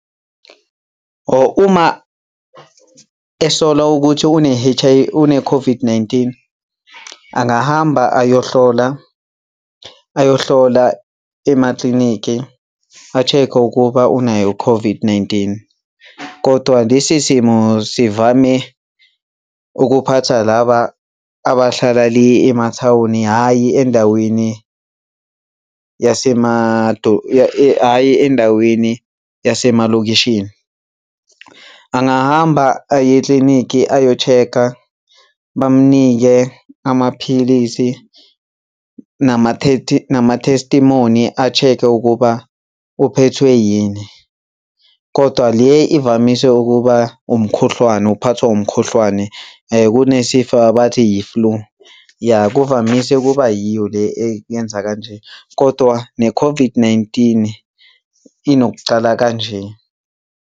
Oh, uma esola ukuthi une-COVID-19 angahamba ayohlola, ayohlola emakliniki, a-check-e ukuba unayo i-COVID-19. Kodwa lesi simo, sivame ukuphatha laba abahlala le emathawuni, hhayi endaweni hhayi endaweni yasemalokishini. Angahamba aye ekliniki ayo-check-a, bamnike amaphilisi nama-testimony a-check-e ukuba uphethwe yini. Kodwa le ivamise ukuba umkhuhlwane, uphathwa umkhuhlwane kunesifo abathi yi-flu, iya kuvamise ukuba yiyo le eyenza kanje, kodwa ne-COVID-19 inokucala kanje.